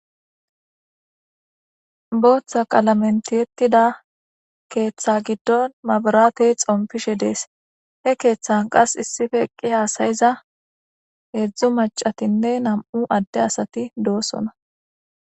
Booththa qalamentiyettida keeththa giddon mabaratey xompishe dees he keeththan qas issife eqqi haasayiza heedzdzu macatinne nam'u adde asati doosona.